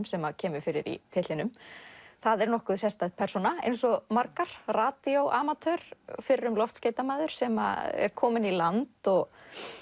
sem kemur fyrir í titlinum það er nokkuð sérstæð persóna eins og margar radíóamatör fyrrum loftskeytamaður sem er kominn í land og